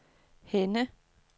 Henne